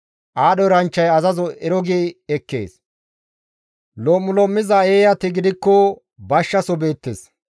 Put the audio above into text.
Aadho eranchchay azazo ero gi ekkees; lom7ulom7iza eeyati gidikko bashshaso beettes.